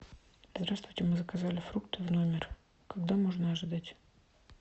здравствуйте мы заказали фрукты в номер когда можно ожидать